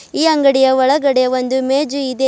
ಈ ಅಂಗಡಿಯ ಒಳಗಡೆ ಒಂದು ಮೇಜು ಇದೆ.